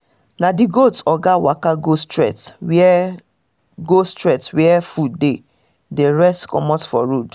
na the goat oga waka go straight where go straight where food dey the rest comot for road